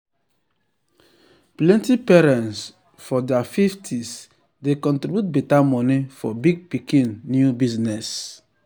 plenty parents for ther 50s dey contriburte better money for big pikin new business